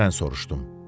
Mən soruşdum.